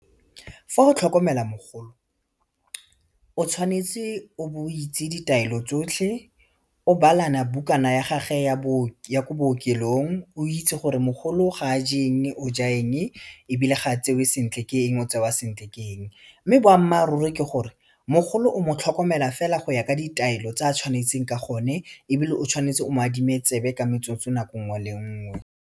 Fa o tlhokomela mogolo, o tshwanetse o be o itse ditaelo tsotlhe o balana bukana ya gage ya ko bookelong, o itse gore mogolo ga a je eng o ja eng ebile ga a tsewe sentle ke eng o tsewa sentle ke eng mme boammaaruri ke gore mogolo o mo tlhokomela fela go ya ka ditaelo tse a tshwanetseng ka gone ebile o tshwanetse o mo adime tsebe ka metsotso nako nngwe le nngwe.